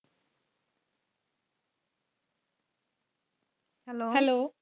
hello